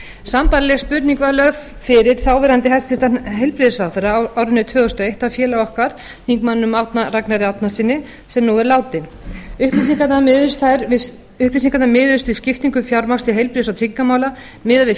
sambærileg spurning var lögð fyrir þáverandi hæstvirtur heilbrigðisráðherra á árinu tvö þúsund og eitt af félaga okkar þingmanninum árna ragnari árnasyni sem nú er látinn upplýsingarnar miðuðust við skiptingu fjármagns til heilbrigðis og tryggingamála miðað við